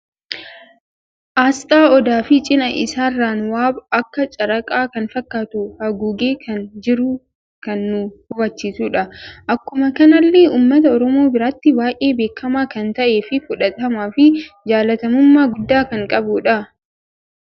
Asxaa odaa fi cina isaarran waab akka caraaqaa kan fakkatu haguugee kan jiru kan nu hubachiisudha. Akkuma kanalle uummata oromoo biratti baay'ee beekama kan ta'ee fi fudhatama fi jaallatamumma gudda kan qabudha.